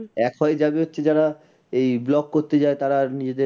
এক হয় যারা হচ্ছে যারা এই blog করতে যায় তারা নিজেদের